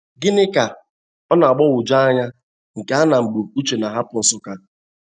Ginika ọ na-agbagwoju anya nke a na mgbe Uche na-ahapụ Nsukka?